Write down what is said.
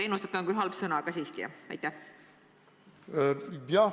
"Ennustate" on küll halb sõna, aga siiski, jah.